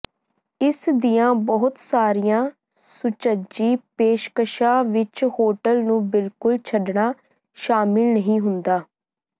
ਇਸ ਦੀਆਂ ਬਹੁਤ ਸਾਰੀਆਂ ਸੁਚੱਜੀ ਪੇਸ਼ਕਸ਼ਾਂ ਵਿੱਚ ਹੋਟਲ ਨੂੰ ਬਿਲਕੁਲ ਛੱਡਣਾ ਸ਼ਾਮਲ ਨਹੀਂ ਹੁੰਦਾ